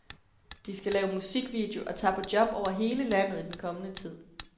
De skal lave musikvideo og tager på job over hele landet i den kommende tid.